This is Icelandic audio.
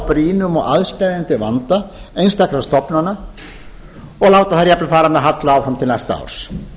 brýnum og aðsteðjandi vanda einstakra stofnana og láta þær jafnvel fara með halla áfram til næsta árs